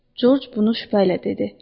Corc bunu şübhə ilə dedi.